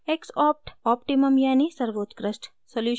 x opt: optimum यानि सर्वोत्कृष्ट solution है